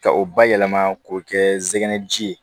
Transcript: Ka o bayɛlɛma k'o kɛ zɛnɛ ji ye